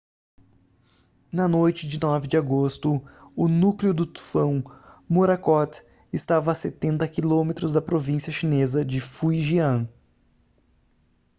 na noite de 9 de agosto o núcleo do tufão morakot estava a setenta quilômetros da província chinesa de fujian